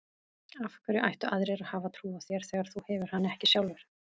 Af hverju ættu aðrir að hafa trú á þér þegar þú hefur hana ekki sjálfur?